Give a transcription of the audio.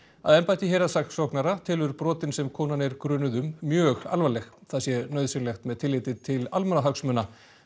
að embætti héraðssaksóknara telur brotin sem konan er grunuð um mjög alvarleg það sé nauðsynlegt með tilliti til almannahagsmuna